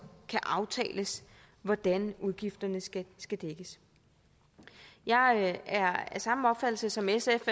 aftales hvordan udgifterne skal skal dækkes jeg er af samme opfattelse som sf